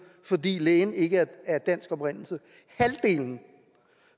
fordi lægen ikke er af dansk oprindelse halvdelen